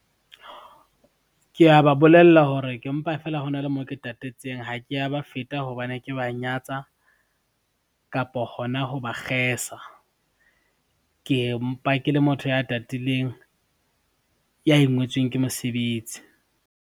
Ke a ba bolella hore ke mpa feela hona le mo ke tatetseng ha ke a ba feta hobane ke ba nyatsa, kapa hona ho ba kgesa. Ke mpa ke le motho ya tatileng, ya ingwetsweng ke mosebetsi.